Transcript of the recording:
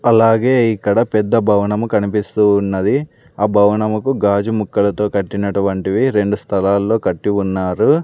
అలాగే ఇక్కడ పెద్ద భవనము కనిపిస్తూ ఉన్నది ఆ భవనముకు గాజు ముక్కలతో కట్టినటువంటివి రెండు స్థలాల్లో కట్టి ఉన్నారు.